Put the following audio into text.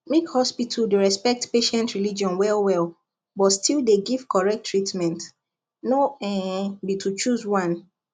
make hospital dey respect patient religion wellwell but still dey give correct treatment no um be to choose one